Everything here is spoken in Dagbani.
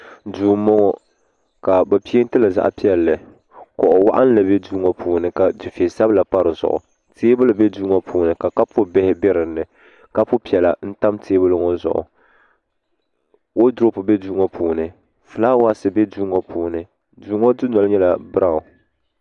duu n bɔŋɔ ka bi peentili zaɣ piɛlli kuɣu waɣanli bɛ duu ŋɔ puuni ka du fɛ sabila pa dizuɣu teebuli bɛ duu ŋɔ puuni ka kapu bihi bɛ dinni lapu piɛla n tam teebuli ŋɔ zuɣu woodurop bɛ duu ŋɔ puuni fulaawaasi bɛ duu ŋɔ puuni duu ŋɔ dundoli nyɛla biraawn